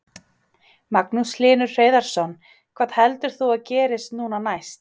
Magnús Hlynur Hreiðarsson: Hvað heldur þú að gerist núna næst?